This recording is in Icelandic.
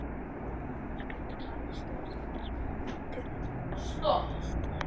Jóhanna Margrét Gísladóttir: Myndirðu kalla þetta stríð?